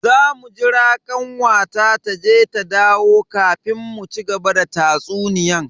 Zamu jira kanwata taje ta dawo kafin mu cigaba da tatsuniyan.